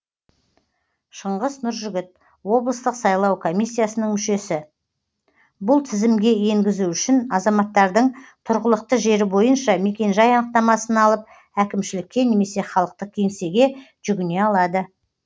шыңғыс нұржігіт облыстық сайлау комиссиясының мүшесі бұл тізімге енгізу үшін азаматтардың тұрғылықты жері бойынша мекенжай анықтамасын алып әкімшілікке немесе халықтық кеңсеге жүгіне алады